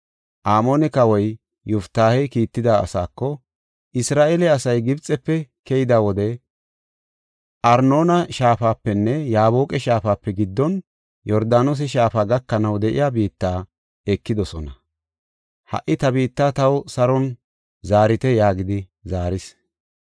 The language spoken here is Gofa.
Amoone kawoy Yoftaahey kiitida asaako, “Isra7eele asay Gibxefe keyida wode Arnoona shaafapenne Yaaboqa shaafape giddon, Yordaanose shaafa gakanaw de7iya ta biitta ekidosona. Ha77i ta biitta taw saron zaarite” yaagidi zaaris.